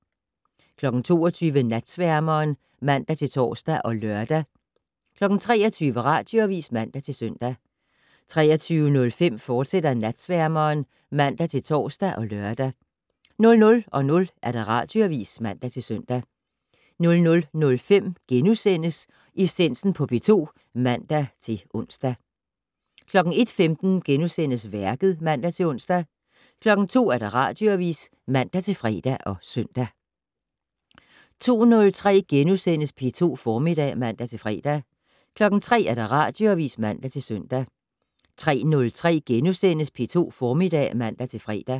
22:00: Natsværmeren (man-tor og lør) 23:00: Radioavis (man-søn) 23:05: Natsværmeren, fortsat (man-tor og lør) 00:00: Radioavis (man-søn) 00:05: Essensen på P2 *(man-ons) 01:15: Værket *(man-ons) 02:00: Radioavis (man-fre og søn) 02:03: P2 Formiddag *(man-fre) 03:00: Radioavis (man-søn) 03:03: P2 Formiddag *(man-fre)